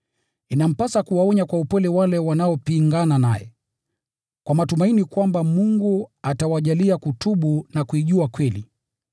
Inampasa kuwaonya kwa upole wale wanaopingana naye, kwa matumaini kwamba Mungu atawajalia kutubu na kuijua kweli,